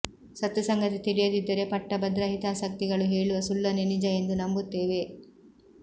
ಸತ್ಯ ಸಂಗತಿ ತಿಳಿಯದಿದ್ದರೆ ಪಟ್ಟಭದ್ರ ಹಿತಾಸಕ್ತಿಗಳು ಹೇಳುವ ಸುಳ್ಳನ್ನೇ ನಿಜ ಎಂದು ನಂಬುತ್ತೇವೆ